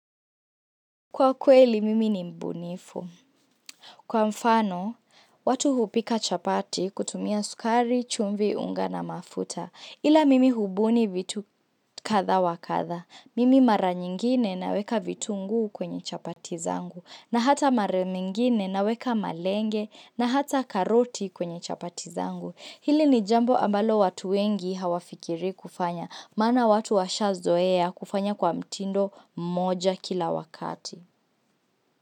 Kwa kweli, mimi ni mbunifu. Kwa mfano, watu hupika chapati kutumia sukari, chumvi, unga na mafuta. Ila mimi hubuni vitu katha wakatha. Mimi mara nyingine naweka vitunguu kwenye chapati zangu. Na hata mara nyingine naweka malenge na hata karoti kwenye chapati zangu. Hili ni jambo ambalo watu wengi hawafikiri kufanya. Maana watu washazoea kufanya kwa mtindo moja kila wakati.